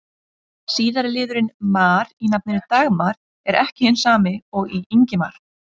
Síðari liðurinn-mar í nafninu Dagmar er ekki hinn sami og í Ingimar.